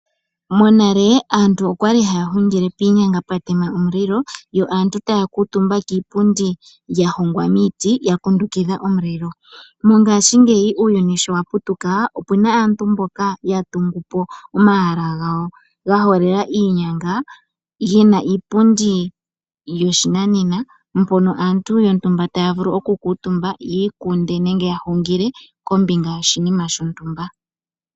Monale aantu oya li haya hungile piinyanga pwa tema omulilo yo aantu taya kuutumba kiipundi ya hongwa miiti ya kundukidha omulilo. Mongashingeyi uuyuni shi wa putuka, opu na aantu mboka ya tungu po omahala gawo ga holela iinyanga ge na iipundi yoshinanena, mpono aantu yontumba taya vulu okukuutumba yi ikunde nenge ya hungile kombinga yoshinima shontumba.